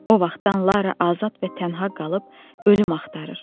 O vaxtdan Lara azad və tənha qalıb ölüm axtarır.